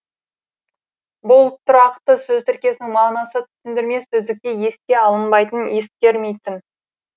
бұл тұрақты сөз тіркесінің мағынасы түсіндірме сөздікте еске алынбайтын ескермейтін